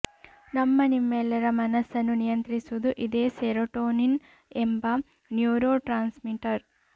ನಮ್ಮ ನಿಮೆಲ್ಲರ ಮನಸ್ಸನ್ನು ನಿಯಂತ್ರಿಸುವುದು ಇದೇ ಸೆರೋಟೋನಿನ್ ಎಂಬ ನ್ಯೂರೋ ಟ್ರಾನ್ಸ್ಮಿಟರ್